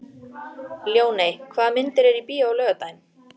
Ljóney, hvaða myndir eru í bíó á laugardaginn?